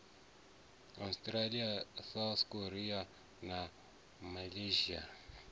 australia south korea na malaysia